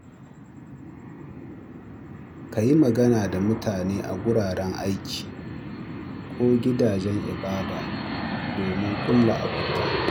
Ka yi magana da mutane a wuraren aiki ko gidajen ibada domin ƙulla abota.